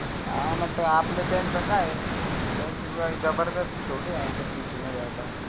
हा न आपला त्यांच काय ए त्यांची जबरदस्ती थोडी